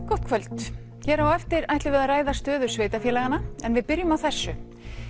gott kvöld hér á eftir ætlum við að ræða stöðu sveitarfélaganna en við byrjum á þessu